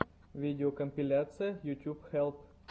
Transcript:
видеокомпиляция ютьюб хелп